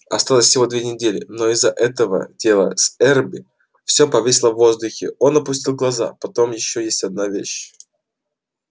осталось всего две недели но из-за этого дела с эрби все повисло в воздухе он опустил глаза потом есть ещё одна вещь